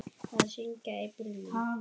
Að syngja í bílnum.